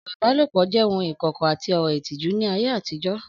Ọ̀rọ̀ ìbálòpọ̀ jẹ́ ohun ìkọ̀kọ̀ àti ọ̀rọ̀ ìtìjú ní ayé àtijọ́